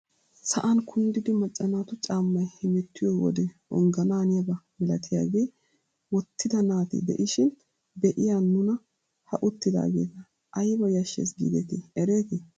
Sa'an kunddidi macca naatu caammay hemettiyoo wode onganaaniyaba milatiyaage wottida naati de'ishin be'iyaa nuna ha uttidaageta ayba yashshes gidetii eretii!